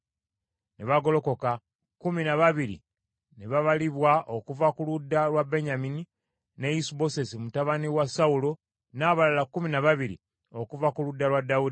Ne bagolokoka, kkumi na babiri ne babalibwa okuva ku ludda lwa Benyamini ne Isubosesi mutabani wa Sawulo, n’ababala kkumi na babiri okuva ku ludda lwa Dawudi.